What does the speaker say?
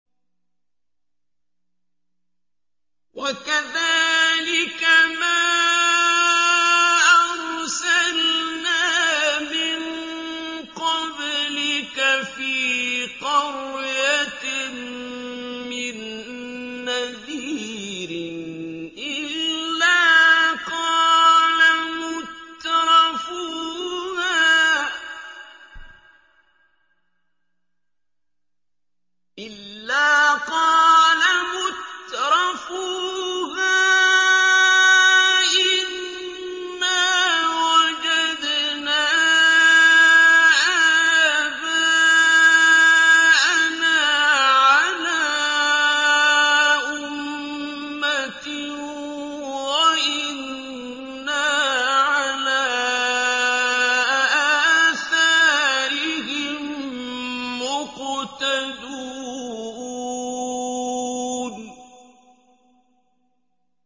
وَكَذَٰلِكَ مَا أَرْسَلْنَا مِن قَبْلِكَ فِي قَرْيَةٍ مِّن نَّذِيرٍ إِلَّا قَالَ مُتْرَفُوهَا إِنَّا وَجَدْنَا آبَاءَنَا عَلَىٰ أُمَّةٍ وَإِنَّا عَلَىٰ آثَارِهِم مُّقْتَدُونَ